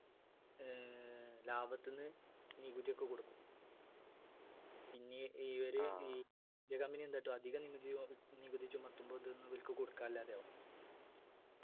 ഏർ ലാഭത്തിന്നു നികുതിയൊക്കെ കൊടുക്കും പിന്നീ ഈയൊരു east ഇന്ത്യ company എന്ത് കാട്ടും അധികം നികുതി ഒ നികുതിചുമത്തും ഇവർക്ക് കൊടുക്കാനില്ലാതെയാവും